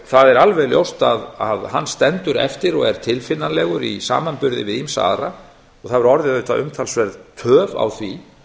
það er alveg ljóst að hann stendur eftir og er tilfinnanlegur í samanburði við ýmsa aðra hefur orðið umtalsverð töf á því